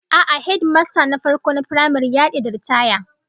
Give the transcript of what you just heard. A'a, hedimasta na farko na firamare ya dade da ritaya